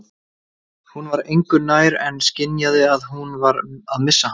Hún var engu nær en skynjaði að hún var að missa hann.